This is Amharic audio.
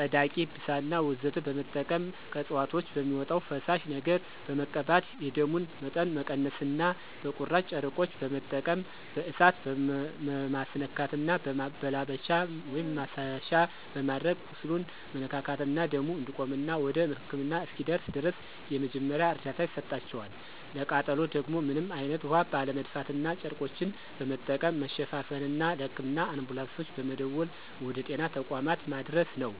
ፀዳቂ፣ ብሳና ወዘተ በመጠቀም ከእፅዋቶች በሚወጣው ፈሳሽ ነገር በመቀባት የደሙን መጠን መቀነስና በቁራጭ ጨርቆች በመጠቀም በእሳት መማስነካትና በማላበቻ(ማሰሻ)በማድረግ ቁስሉን መነካካትና ደሙ እንዲቆምና ወደ ህክምና እስኪደርስ ድረስ የመጀመሪያ እርዳታ ይሰጣቸዋል፣ ለቃጠሎ ደግሞ ምንም አይነት ውሀ ባለመድፋትና ጨርቆችን በመጠቀም መሸፋፈንና ለህክምና አንቡላንሶች በመደወል ወደ ጤና ተቋማት ማድረስ ነው።